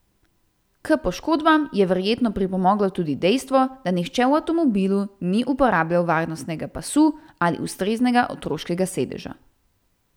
K poškodbam je verjetno pripomoglo tudi dejstvo, da nihče v avtomobilu ni uporabljal varnostnega pasu ali ustreznega otroškega sedeža.